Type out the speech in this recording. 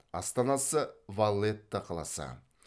астанасы валлетта қаласы